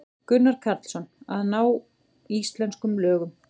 Gunnar Karlsson: Að ná íslenskum lögum.